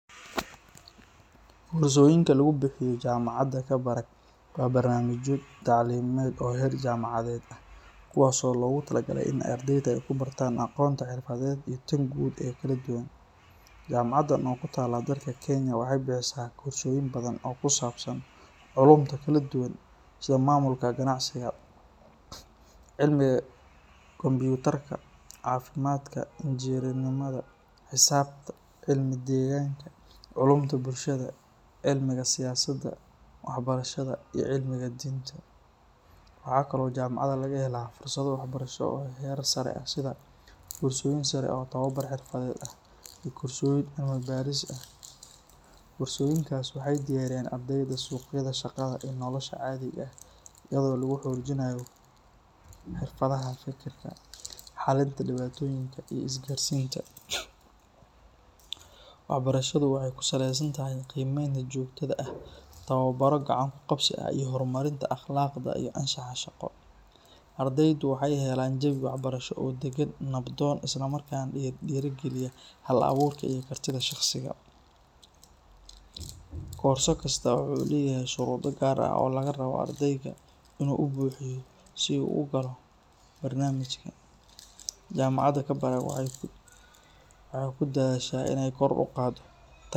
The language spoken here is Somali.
Korsoyinka lagu bixiyo jaamacadda Kabarak waa barnaamijyo tacliimeed oo heer jaamacadeed ah kuwaas oo loogu talagalay in ardayda ay ku bartaan aqoonta xirfadeed iyo tan guud ee kala duwan. Jaamacaddan oo ku taalla dalka Kenya waxay bixisaa koorsooyin badan oo ku saabsan culuumta kala duwan sida maamulka ganacsiga, cilmiga kombiyuutarka, caafimaadka, injineernimada, xisaabta, cilmiga deegaanka, culuumta bulshada, cilmiga siyaasadda, waxbarashada iyo cilmiga diinta. Waxa kale oo jaamacadda laga helaa fursado waxbarasho oo heer sare ah sida koorsooyin sare oo tababar xirfadeed ah iyo koorsooyin cilmi-baaris ah. Koorsooyinkaasi waxay u diyaariyaan ardayda suuqyada shaqada iyo nolosha caadiga ah iyadoo lagu xoojinayo xirfadaha fekerka, xallinta dhibaatooyinka, iyo isgaarsiinta. Waxbarashadu waxay ku saleysan tahay qiimeynta joogtada ah, tababaro gacan-ku-qabsi ah, iyo horumarinta akhlaaqda iyo anshaxa shaqo. Ardaydu waxay helaan jawi waxbarasho oo deggan, nabdoon, isla markaana dhiirrigeliya hal-abuurka iyo kartida shakhsiga. Koorso kasta waxa uu leeyahay shuruudo gaar ah oo laga rabo ardayga in uu buuxiyo si uu u galo barnaamijka. Jaamacadda Kabarak waxay ku dadaashaa in ay kor u qaaddo.